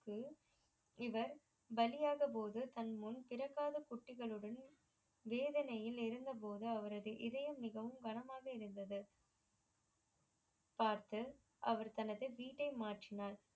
இவர் வலியாத போது தன் முன் பிறக்காத குட்டிகளுடன் வேதனையில் இருந்த போது அவரது இதயம் மிகவும் கனமாக இருந்தது பார்த்து அவர் தனது வீடை மாற்றினார்